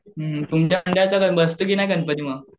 हुं तुमच्या मंडळाचा बसतो की नाही गणपती मग?